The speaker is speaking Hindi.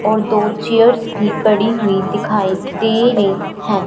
और दो चेयर्स भी पड़ी हुई दिखाई दे रही हैं।